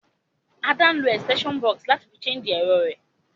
Ada n lo extension box náà láti fi charge èrọ rẹ́